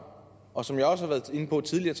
og som jeg også har været inde på tidligere